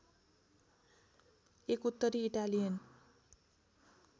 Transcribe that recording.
एक उत्तरी इटालियन